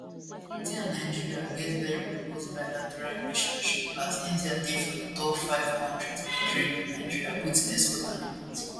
india and nigeria get very robust bilateral relationship as india dey for di top five kontris of trade wit nigeria both in export and import